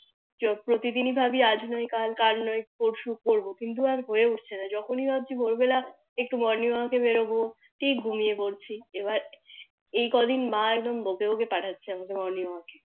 প্রতিদিনি ভাবি আজ না হয় কাল কাল না হয় পরশু করবো কিন্তু আর হয়ে উঠছিলো না যখনি ভাবছি ভোর বেলা একটু Morning Work বেরোবো ঠিক ঘুমিয়ে পড়ছি এবার এই ক দিন মা একদম বকে বকে পাঠাচ্ছে আমাকে Morning Work